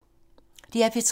DR P3